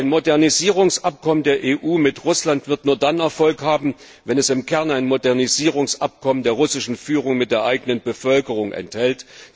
Ein Modernisierungsabkommen der EU mit Russland wird nur dann Erfolg haben, wenn es im Kern ein Modernisierungsabkommen der russischen Führung mit der eigenen Bevölkerung enthält.